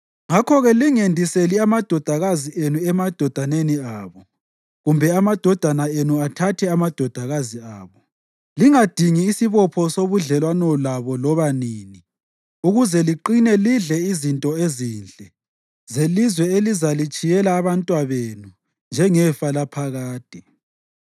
Ngakho-ke lingendiseli amadodakazi enu emadodaneni abo kumbe amadodana enu athathe amadodakazi abo. Lingadingi isibopho sobudlelwano labo loba nini, ukuze liqine lidle izinto ezinhle zelizwe elizalitshiyela abantwabenu njengelifa laphakade.’